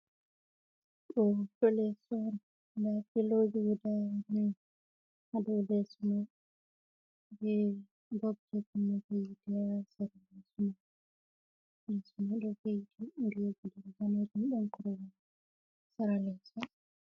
Do hoto leso on da filoji goda nai hado leso man be bobji yite ha sera leso man, leso man do veiti riga danejum da korwal ha sera leso.